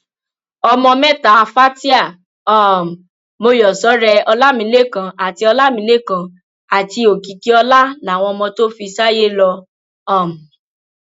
ọmọ mẹta fatia um mòyọsọrẹ ọlámilẹkan àti ọlámilẹkan àti òkìkíọlá làwọn ọmọ tó fi sáyé lọ um